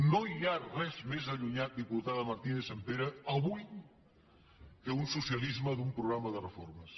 no hi ha res més allunyat diputada martínez sampere avui que un socialisme d’un programa de reformes